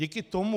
Díky tomu...